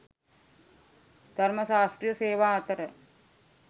ධර්ම ශාස්ත්‍රීය සේවා අතර